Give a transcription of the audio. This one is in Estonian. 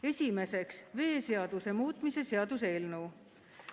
Esiteks, veeseaduse muutmise seaduse eelnõu.